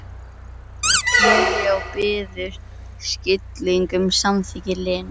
Júlía og biður um skilning, um samþykki Lenu.